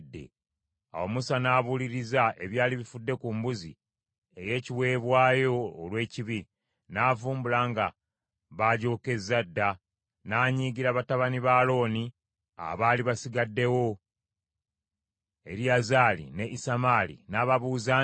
Awo Musa n’abuuliriza ebyali bifudde ku mbuzi ey’ekiweebwayo olw’ekibi, n’avumbula nga baagyokezza dda, n’anyiigira batabani ba Alooni abaali basigaddewo, Eriyazaali ne Isamaali, n’ababuuza nti,